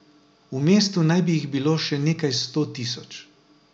V mestu naj bi jih bilo še nekaj sto tisoč.